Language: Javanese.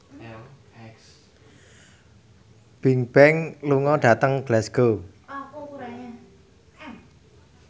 Bigbang lunga dhateng Glasgow